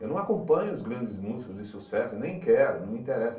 Eu não acompanho os grandes músicos de sucesso, nem quero, não me interessa.